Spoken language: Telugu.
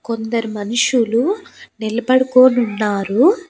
కొందరు మనుషులు నిలబడుకోనున్నారు.